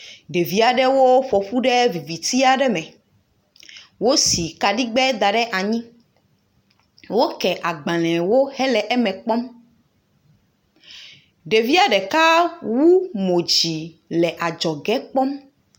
Ɖevi aɖewo ƒo ƒu ɖe viviti aɖe me. Wosi kaɖigbɛ da ɖe anyi. Woke agbalẽwo hele wo eme kpɔm. Ɖevia ɖeka wu mo dzi le adzɔge kpɔm.